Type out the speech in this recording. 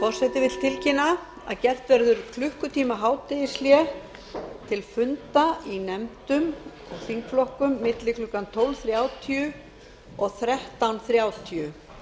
forseti vill tilkynna að gert verður klukkutíma hádegishlé til funda í nefndum og þingflokkum milli klukkan tólf þrjátíu og þrettán þrjátíu